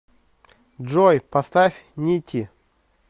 джой поставь нити